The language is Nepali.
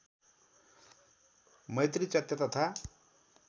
मैत्री चैत्य तथा